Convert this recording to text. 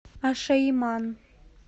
ашаиман